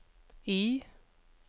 Y